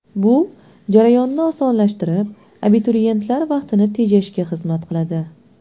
Bu jarayonni osonlashtirib, abituriyentlar vaqtini tejashga xizmat qiladi.